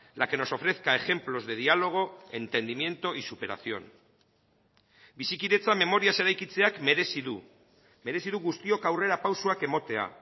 la que nos ofrezca ejemplos de diálogo entendimiento y superación bizikidetza memoriaz eraikitzeak merezi du merezi du guztiok aurrerapausoak ematea